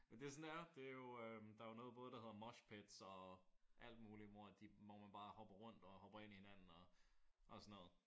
Men det er sådan det er. Det er jo øh der er jo noget der hedder mosh pits og alt muligt hvor man bare hopper rundt og hopper ind i hinanden og og sådan noget